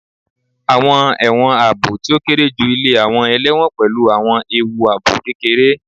Awọn ẹwọn aabo ti o kere ju ile awọn ẹlẹwọn pẹlu awọn eewu aabo kekere